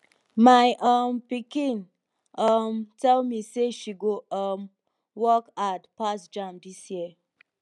my um pikin um tell me say she go um work hard pass jamb dis year